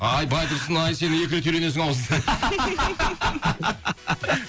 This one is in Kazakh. ай байтұрсын ай сен екі рет үйленесің ау